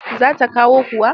Za ta kawo kuwa?